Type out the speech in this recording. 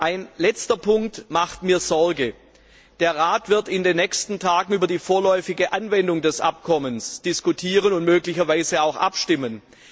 Ein letzter Punkt macht mir Sorge Der Rat wird in den nächsten Tagen über die vorläufige Anwendung des Abkommens diskutieren und möglicherweise auch abstimmen.